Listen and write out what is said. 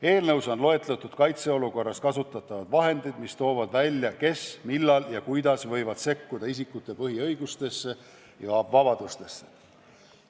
Eelnõus on loetletud kaitseolukorras kasutatavad vahendid, mis toovad välja, kes, millal ja kuidas võivad sekkuda isikute põhiõigustesse ja -vabadustesse.